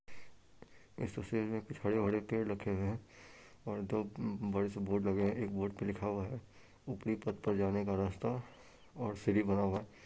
इस तस्वीर में कुछ हरे-भरे पेड़ रखे हैं और दो बड़े से बोर्ड लगे हैं एक बोर्ड पे लिखा हुआ है ऊपरी पथ पर जाने का रास्ता और सीढ़ी बना हुआ है।